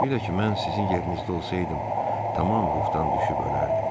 Bir də ki, mən sizin yerinizdə olsaydım, tamam ruhdan düşüb ölərdim.